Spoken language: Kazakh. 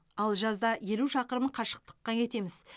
ал жазда елу шақырым қашықтыққа кетеміз